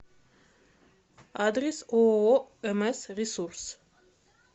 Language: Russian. адрес ооо мс ресурс